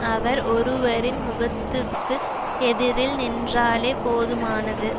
அவர் ஒருவரின் முகத்துக்கு எதிரில் நின்றாலே போதுமானது